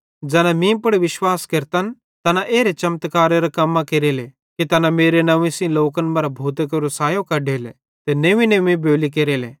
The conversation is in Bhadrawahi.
ज़ैना मीं पुड़ विश्वास केरतन तैना एरां चमत्कारेरां कम्मां निशाना केरले कि तैना मेरे नंव्वे सेइं लोकन मरां भूतां केरो सायो कढेले ते नंव्वीनंव्वी बोली केरले